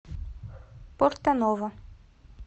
порто ново